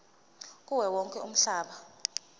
kuwo wonke umhlaba